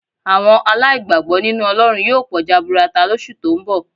Àwọn aláìgbàgbọ́ nínú Ọlọ́run yóò pọ̀ jaburata lóṣù tó ń bọ̀